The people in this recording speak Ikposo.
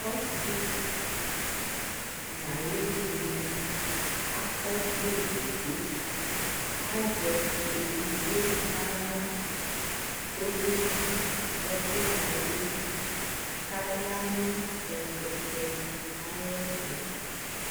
ɔsii nʋ ayɛ ɛvini akɔ ɔvlɛ ɛdigbɔ, azɛɛdigbɔ nʋala kʋ ɔkɛ dzi ɛkʋ dawli kʋ ayanʋ ɛkʋtɛ ayɛtʋ